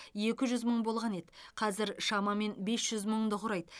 екі жүз мың болған еді қазір шамамен бес жүз мыңды құрайды